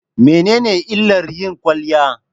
Mene ne illar yin kwaliya?